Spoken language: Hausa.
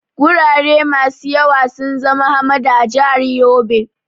Gurare masu yawa sun zama hamada a jihar Yobe.